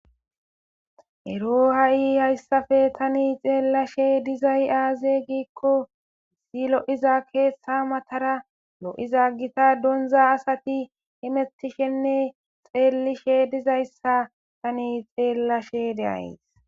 Ero ha'i haysappe tani xelashe dizay aze gikko kehi lo'iza ketha matara lo'iza gotta donza asati hamutishenneri xelishe dizaysa Tani xelashe de'aysi